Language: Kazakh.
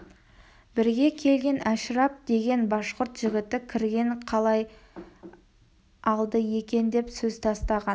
бірге келген әшірап деген башқұрт жігіті кірген қалай алды екен деп сөз тастаған